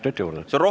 Palun!